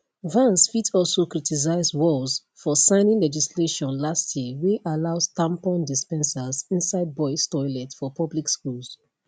vance fit also criticise walz for signing legislation last year wey allows tampon dispensers inside boys toilets for public schools